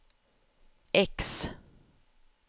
X